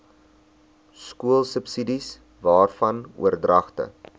skoolsubsidies waarvan oordragte